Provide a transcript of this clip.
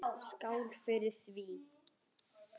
Skál fyrir því!